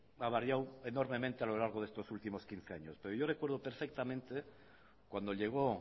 ha variado enormemente a lo largo de estos últimos quince años pero yo recuerdo perfectamente cuando llegó